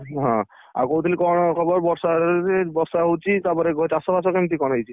ହଁ, ଆଉ କହୁଥିଲି କଣ ଖବର ବର୍ଷା ବର୍ଷା ହଉଛି ତାପରେ ଚାଷ ବାସ କେମିତି କଣ ହେଇଛି?